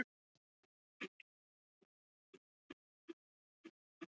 Setjið hrísgrjónin, léttmjólkina og sykurinn í pott.